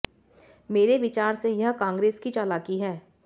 मेरे विचार से यह कांग्रेस की चालाकी है